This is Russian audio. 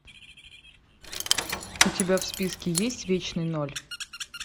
у тебя в списке есть вечный ноль